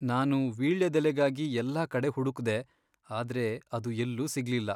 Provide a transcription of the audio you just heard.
ನಾನು ವೀಳ್ಯದೆಲೆಗಾಗಿ ಎಲ್ಲಾ ಕಡೆ ಹುಡುಕ್ದೆ, ಆದ್ರೆ ಅದು ಎಲ್ಲೂ ಸಿಗ್ಲಿಲ್ಲ.